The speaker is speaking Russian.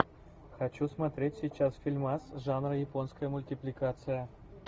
хочу смотреть сейчас фильмас жанра японская мультипликация